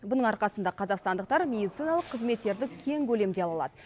бұның арқасында қазақстандықтар медициналық қызметтерді кең көлемде ала алады